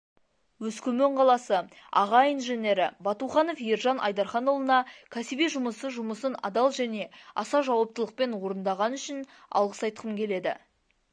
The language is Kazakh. өскемен қаласы аға инженері батуханов ержан айдарханұлына кәсіби жұмысы жұмысын адал және аса жауаптылықпен орындаған үшін алғыс айтқым келеді